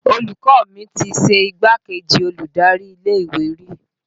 Olùkọ́ mi ti ṣe igbákejì olùdarí ilé ìwé rí